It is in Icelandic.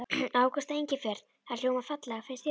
Ágústa Engifer. það hljómar fallega, finnst þér ekki?